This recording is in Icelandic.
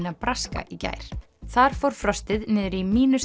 Nebraska í gær þar fór frostið niður í